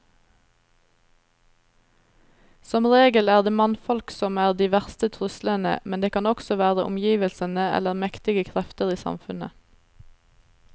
Som regel er det mannfolk som er de verste truslene, men det kan også være omgivelsene eller mektige krefter i samfunnet.